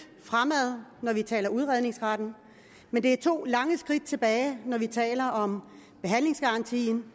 fremad når vi taler om udredningsretten men det er to lange skridt tilbage når vi taler om behandlingsgarantien